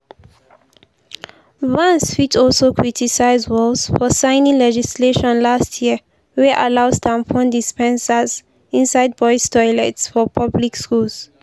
vance fit also criticise walz for signing legislation last year wey allows tampon dispensers inside boys toilets for public schools.